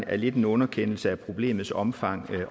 er lidt en underkendelse af problemets omfang